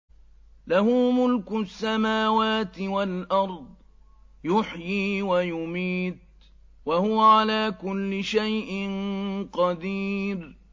لَهُ مُلْكُ السَّمَاوَاتِ وَالْأَرْضِ ۖ يُحْيِي وَيُمِيتُ ۖ وَهُوَ عَلَىٰ كُلِّ شَيْءٍ قَدِيرٌ